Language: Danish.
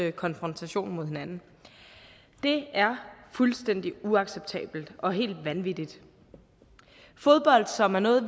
i konfrontation med hinanden det er fuldstændig uacceptabelt og helt vanvittigt fodbold som er noget